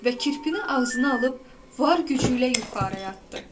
və kirpini ağzına alıb var gücü ilə yuxarı atdı.